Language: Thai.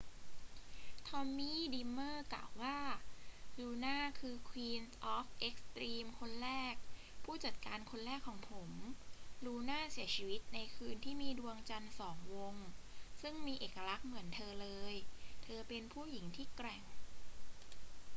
ทอมมี่ ดรีมเมอร์ กล่าวว่า ลูน่าคือ queen of extreme คนแรก ผู้จัดการคนแรกของผม ลูน่าเสียชีวิตในคืนที่มีดวงจันทร์สองวงซึ่งมีเอกลักษณ์เหมือนเธอเลย เธอเป็นผู้หญิงที่แกร่ง